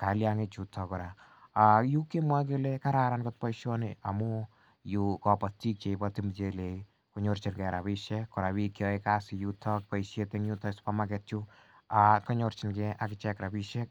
kaliangik chuton kora akimwa kele kararan kot boisioni amu yu kabatik cheibati muchelek ih , konyorchike rabisiek kora bik cheyae kasit en yuton boisiet en super market konyorchike rabisiek